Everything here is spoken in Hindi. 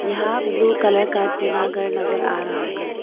यहां ब्लू कलर का टिना घर नजर आ रहा है।